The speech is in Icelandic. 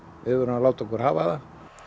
að láta okkur hafa það